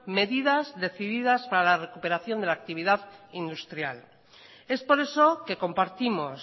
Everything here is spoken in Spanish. medidas decididas para la recuperación de la actividad industrial es por eso que compartimos